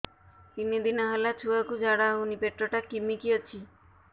ତିନି ଦିନ ହେଲା ଛୁଆକୁ ଝାଡ଼ା ହଉନି ପେଟ ଟା କିମି କି ଅଛି